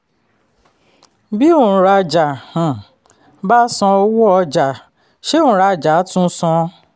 bí òǹrajà um bá san owó ọjà ṣé òǹrajà a tún san?